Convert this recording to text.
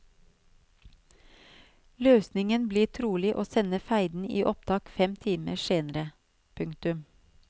Løsningen blir trolig å sende feiden i opptak fem timer senere. punktum